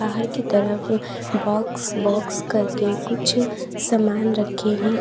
बाहर की तरफ बॉक्स बॉक्स करके कुछ सामान रखे हैं।